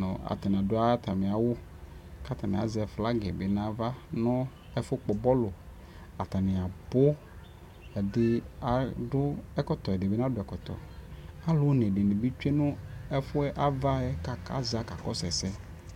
nʋ atanɩ adʋ atamɩ awʋ, kʋ atanɩ azɛ flag bɩ nʋ ava nʋ ɛfʋ kpɔ bɔlʋ, atanɩ abʋ, ɛdɩnɩ adʋ ɛkɔtɔ, ɛdɩnɩ nadʋ ɛkɔtɔ Alʋ one dɩnɩ bɩ tsue nʋ ɛfʋ yɛ, ava yɛ, kʋ aza kakɔsʋ ɛsɛ